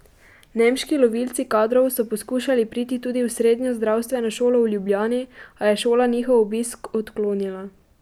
Nemški lovilci kadrov so poskušali priti tudi v srednjo zdravstveno šolo v Ljubljani, a je šola njihov obisk odklonila.